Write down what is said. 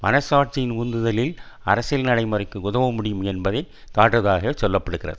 மனச்சாட்சியின் உந்துதலினால் அரசியல் நடைமுறைக்கு உதவ முடியும் என்பதை காட்டுவதாக சொல்ல படுகிறது